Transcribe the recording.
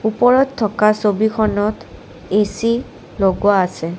ওপৰত থকা ছবিখনত এ_চি লগোৱা আছে।